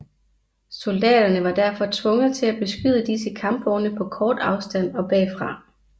Soldaterne var derfor tvunget til at beskyde disse kampvogne på kort afstand og bagfra